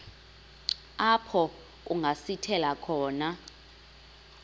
apho kungasithela khona